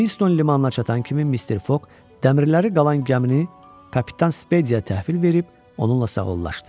Quinston limanına çatan kimi Mister Foq dəmirələri qalan gəmini kapitan Spediyə təhvil verib onunla sağollaşıdı.